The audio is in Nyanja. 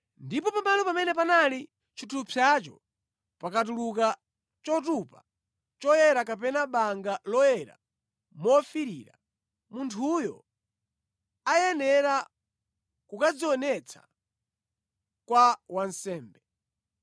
ndipo pamalo pamene panali chithupsacho pakatuluka chotupa choyera kapena banga loyera mofiirira, munthuyo ayenera kukadzionetsa kwa wansembe.